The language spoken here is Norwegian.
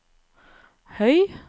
høy